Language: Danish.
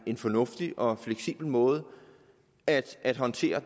en fornuftig og fleksibel måde at at håndtere